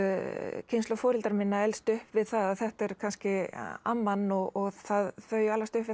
kynslóð foreldra minna elst upp við að þetta er kannski amman og þau alast upp við það